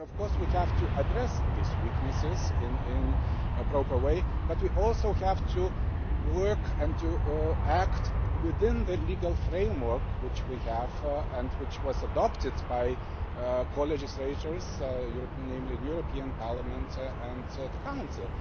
And of course we have to address these weaknesses in a proper way. But we also have to work and to act within the legal framework which we have and which was adopted by the co legislators, namely the European Parliament and the Council.